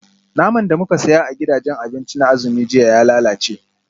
Naman da muka saya a gidajen abinci na azumi jiya ya lalace